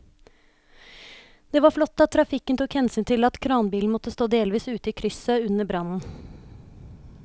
Det var flott at trafikken tok hensyn til at kranbilen måtte stå delvis ute i krysset under brannen.